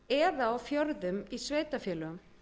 eða á fjörðum í sveitarfélögum